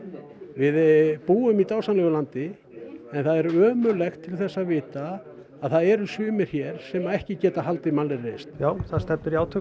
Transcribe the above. við búum í dásamlegu landi en það er ömurlegt til þess að vita að það eru sumir hér sem ekki geta haldið mannlegri reisn já það stefnir í átök